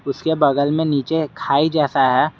उसके बगल में नीचे खाई जैसा है।